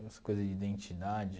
essa coisa de identidade.